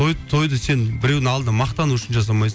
той тойды сен біреудің алдында мақтану үшін жасамайсың